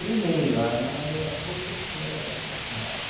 Primeiro, a mãe é a professora da sua casa.